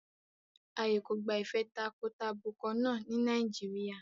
Ààyè kò gba ìfẹ́ takọtabo kan náà ní Nàìjíríà.